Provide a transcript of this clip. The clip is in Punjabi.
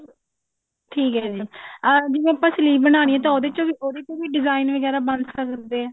ਠੀਕ ਹੈ ਜੀ ਜਿਵੇ ਆਪਾਂ sleeve ਬਣਾਉਣੀ ਹੈ ਤਾਂ ਉਹਦੇ ਚੋਂ ਵੀ ਉਹਦੇ ਚੋਂ ਵੀ design ਵਗੇਰਾ ਬਣ ਸਕਦੇ ਏ